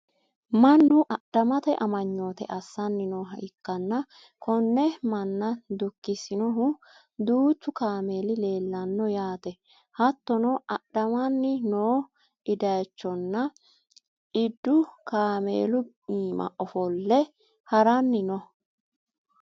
mannu adhamete amanyoote assanni nooha ikkanna, konne manna dukkisinohu duuchu kaameeli leelanno yaate. hattono adhamanni noo idayiichonna iddu kaameelu iima ofo''le haranni no.